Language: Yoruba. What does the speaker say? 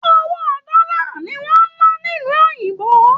Owó dọlà ni wọn n nà nílu òyìnbó.